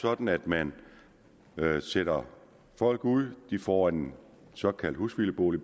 sådan at man sætter folk ud og de får en såkaldt husvildebolig